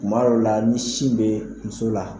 Maw la ni sin be musola la